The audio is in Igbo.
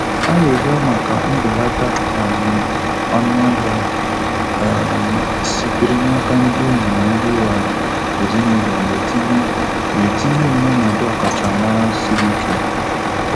Arịrịọ maka mbelata um ọnụahịa um sitere n' aka ndị enyi na ndị um ezinụlọ na-etinye na-etinye m n'ọnọdụ ọkachamara siri ike.